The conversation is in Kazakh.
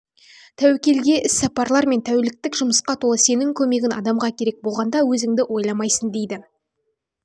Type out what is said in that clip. мен тәуекелге іс сапарлар мен тәуліктік жұмысқа толы сенің көмегін адамға керек болғанда өзінді ойламайсын дейді